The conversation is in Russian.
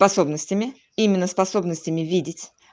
способностями именно способностями видеть